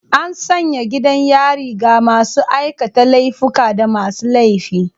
An sanya gidan yari ga masu aikata laifuka da masu laifi.